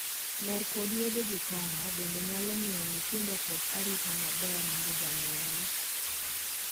Mer kod yedhe gi kong'o bende nyalo miyo nyithindo kos arita maber mar janyuol.